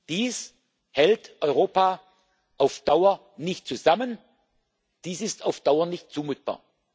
Dies hält Europa auf Dauer nicht zusammen, dies ist auf Dauer nicht zumutbar.